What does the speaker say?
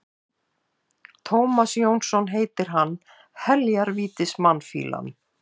Tómas Jónsson heitir hann, heljar vítis mannfýlan.